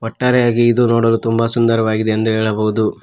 ಒಟ್ಟಾರೆಯಾಗಿ ಇದು ನೋಡಲು ತುಂಬಾ ಸುಂದರವಾಗಿದೆ ಎಂದು ಹೇಳಬಹುದು.